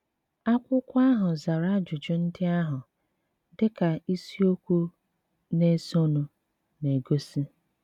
Akwụkwọ ahụ zara ajụjụ ndị ahụ, dị ka isiokwu na-esonụ na-egosi.